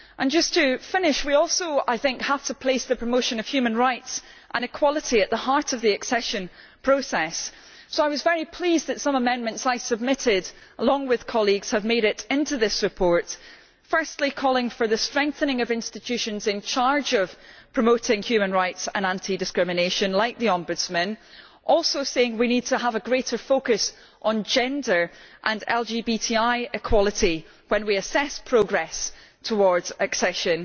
Just to finish, we also have to place the promotion of human rights and equality at the heart of the accession process, so I was very pleased that some amendments I submitted along with colleagues have made it into this report firstly calling for the strengthening of institutions in charge of promoting human rights and anti discrimination, like the Ombudsman, while also saying we need to have a greater focus on gender and LGBTI equality when we assess progress towards accession.